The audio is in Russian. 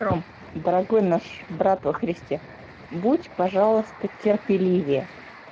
ром дорогой наш брат во христе будь пожалуйста терпеливее